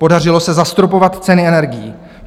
Podařilo se zastropovat ceny energií.